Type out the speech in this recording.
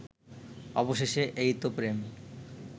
অবশেষে এইতো প্রেম